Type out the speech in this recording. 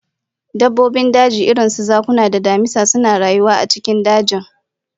Dabbobin daji irin su zakuna da damisa suna rayuwa a cikin dajin